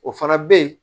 O fana bɛ ye